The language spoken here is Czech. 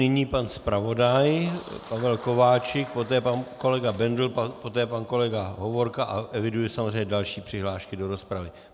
Nyní pan zpravodaj Pavel Kováčik, poté pan kolega Bendl, poté pan kolega Hovorka a eviduji samozřejmě další přihlášky do rozpravy.